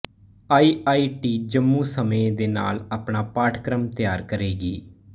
I I T Jammu ਸਮੇਂ ਦੇ ਨਾਲ ਆਪਣਾ ਪਾਠਕ੍ਰਮ ਤਿਆਰ ਕਰੇਗੀ